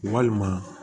Walima